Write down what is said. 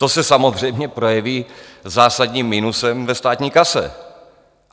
To se samozřejmě projeví zásadním minusem ve státní kase.